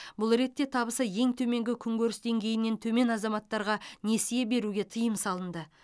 бұл ретте табысы ең төменгі күнкеріс деңгейінен төмен азаматтарға несие беруге тыйым салынды